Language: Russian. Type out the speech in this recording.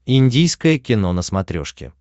индийское кино на смотрешке